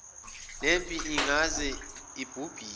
lempi ingaze ibhubhise